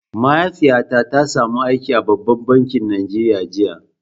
Mahaifiyata ta samu aiki a babban bankin Najeriya jiya.